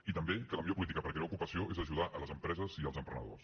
i també que la millor política per crear ocupació és ajudar les empreses i els emprenedors